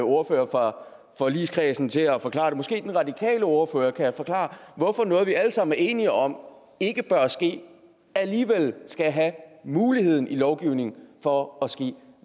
ordførere fra forligskredsen til at forklare og måske den radikale ordfører kan forklare hvorfor noget som vi alle sammen er enige om ikke bør ske alligevel skal have muligheden i lovgivningen for at ske